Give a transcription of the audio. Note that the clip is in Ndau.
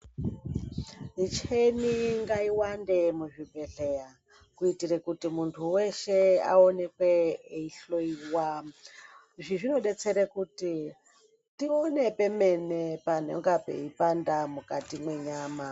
Michina ngaiwande muzvibhedhlera kuitira kuti muntu weshe aonekwe eihloiwa izvi zvinodetsera kuti tione pemene panenge peipanda mukati menyama.